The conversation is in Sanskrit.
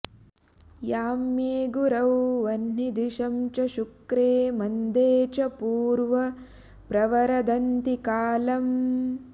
याम्ये गुरौ वह्नि दिशं च शुक्रे मन्दे च पूर्व प्रवरदन्ति कालम्